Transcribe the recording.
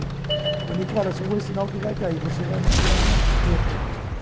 Falou, Nicola, só vou ensinar o que vai cair, você vai tirar de letra.